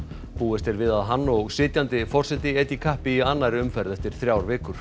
búist er við að hann og sitjandi forseti etji kappi í annarri umferð eftir þrjár vikur